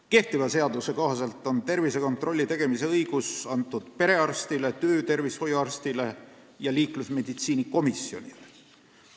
Kehtiva seaduse kohaselt on tervisekontrolli tegemise õigus antud perearstile, töötervishoiuarstile ja liiklusmeditsiini komisjonile.